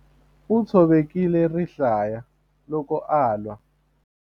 U tshovekile rihlaya loko a lwa.